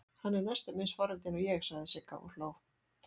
Hann er næstum eins forvitinn og ég, sagði Sigga og hló.